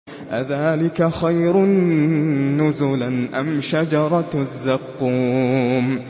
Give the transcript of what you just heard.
أَذَٰلِكَ خَيْرٌ نُّزُلًا أَمْ شَجَرَةُ الزَّقُّومِ